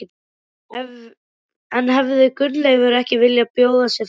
En hefði Gunnleifur ekki viljað bjóða sig fram?